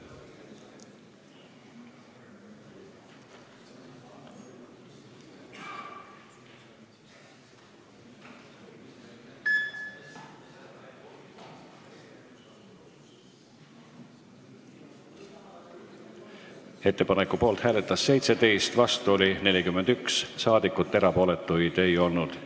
Hääletustulemused Ettepaneku poolt hääletas 17 ja vastu oli 41 saadikut, erapooletuid ei olnud.